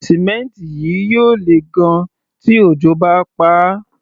Símẹ́ǹtì yìí yóò lè gan-an tí òjò bá paá.